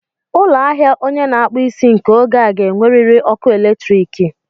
Ụlọ ahịa onye na akpu isi nke oge a ga-enwerịrị ọkụ eletriiki.